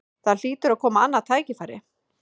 Það hlýtur að koma annað tækifæri